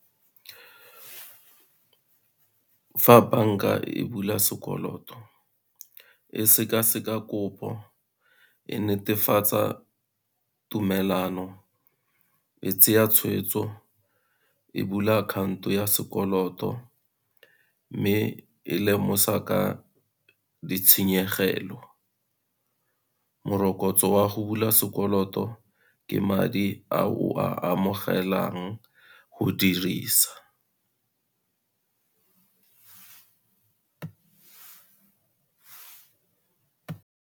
Fa bank-a e bula sekoloto e seka-seka kopo, e netefatsa tumelano e tsaya tshweetso, e bula akhaonto ya sekoloto mme e lemosa ka ditshenyegelo. Morokotso wa go bula sekoloto ke madi a o a amogelang go dirisa.